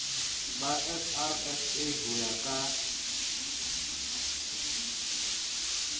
ba srsa ho ya ka